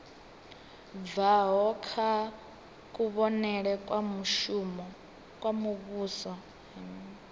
bvaho kha kuvhonele kwa muvhuso